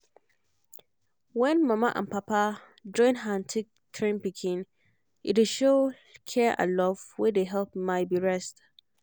when mama and papa join hand take train pikin e dey show care and love wey dey help my be rest